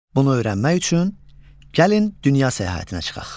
Bunu öyrənmək üçün gəlin dünya səyahətinə çıxaq.